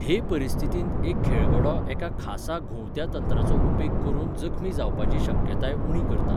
हे परिस्थितींत खेळगडो एका खासा घुंवत्या तंत्राचो उपेग करून जखमी जावपाची शक्यताय उणी करता.